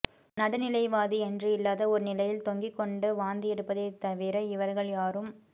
நடுநிலை வாதி என்று இல்லாத ஒரு நிலையில் தொங்கிக்கொண்டு வாந்தி எடுப்பதை தவிர இவர்கள் யாரும்